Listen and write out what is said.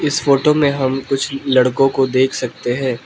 इस फोटो में हम कुछ लड़कों को देख सकते हैं।